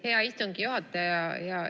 Hea istungi juhataja!